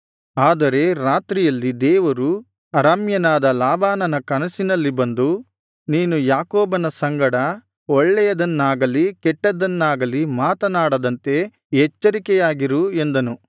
ಆದರೆ ರಾತ್ರಿಯಲ್ಲಿ ದೇವರು ಅರಾಮ್ಯನಾದ ಲಾಬಾನನ ಕನಸಿನಲ್ಲಿ ಬಂದು ನೀನು ಯಾಕೋಬನ ಸಂಗಡ ಒಳ್ಳೆಯದನ್ನಾಗಲಿ ಕೆಟ್ಟದ್ದನ್ನಾಗಲಿ ಮಾತನಾಡದಂತೆ ಎಚ್ಚರಿಕೆಯಾಗಿರು ಎಂದನು